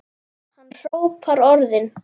Hann hrópar orðin.